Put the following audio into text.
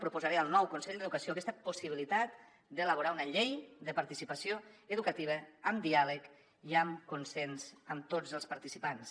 proposaré al nou consell d’educació aquesta possibilitat d’elaborar una llei de participació educativa amb diàleg i amb consens amb tots els participants